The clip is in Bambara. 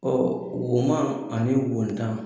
Ɔ woma ani wontan